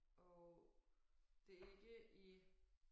Og det ikke i